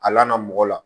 A laada mɔgɔ la